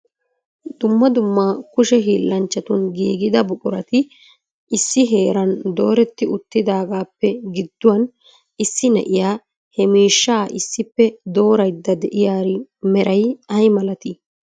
Dumma dumma kushe hiilanchchatun giigida buqurati issi heeran dooreti uttidageppe giddouwan issi na'iyaa he miishsha issippe dooraydda de'iyaari meray ay malati?